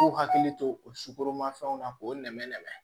K'u hakili to o sukoromafɛnw na k'o nɛmɛ nɛmɛ